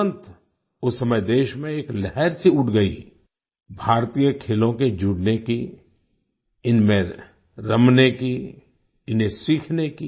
तुरंत उस समय देश में एक लहर सी उठ गई भारतीय खेलों के जुड़ने की इनमें रमने की इन्हें सीखने की